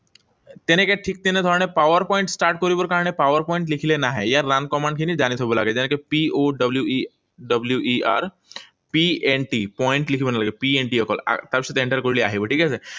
তেনেকৈ ঠিক তেনেধৰণে PowerPoint start কৰিবলে কাৰণে PowerPoint লিখিলে নাহে। ইয়াৰ run command খিনি জানি থব লাগে। যেনেকৈ P O W E W E R P N T, point লিখিব নালাগে। P N T অকল। তাৰপিছত enter কৰিলে আহিব, ঠিক আছে?